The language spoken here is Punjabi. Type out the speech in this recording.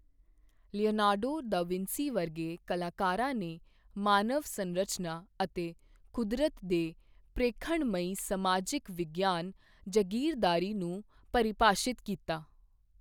ਲੀਉਨਾਰਡੋ ਡਾ ਵਿੰਸੀ ਵਰਗੇ ਕਲਾਕਾਰਾਂ ਨੇ ਮਾਨਵ ਸੰਰਚਨਾ ਅਤੇ ਕੁਦਰਤ ਦੇ ਪ੍ਰੇਖਣਮਈ ਸਮਾਜਿਕ ਵਿਗਿਆਨ ਜਗੀਰਦਾਰੀ ਨੂੰ ਪਰਿਭਾਸ਼ਿਤ ਕਰੋ।